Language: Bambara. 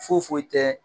Foyi foyi tɛ